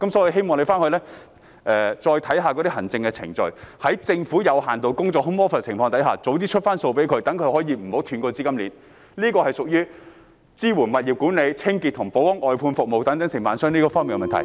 我希望政府再檢示行政程序，在政府有限度工作的情況下盡早發出款項，免得外判商的資金鏈中斷，這是屬於支援物業管理、清潔和保安外判服務等承辦商方面的問題......